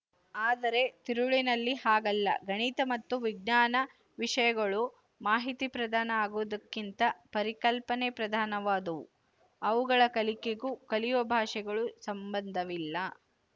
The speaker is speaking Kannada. ಆದರೆ ತಿರುಳಿನಲ್ಲಿ ಹಾಗಲ್ಲ ಗಣಿತ ಮತ್ತು ವಿಜ್ಞಾನ ವಿಶಯಗಳು ಮಾಹಿತಿ ಪ್ರಧಾನ ಆಗುವುದಕ್ಕಿಂತ ಪರಿಕಲ್ಪನೆ ಪ್ರಧಾನವಾದವು ಅವುಗಳ ಕಲಿಕೆಗೂ ಕಲಿಯುವ ಭಾಷೆಗೂ ಸಂಬಂಧವಿಲ್ಲ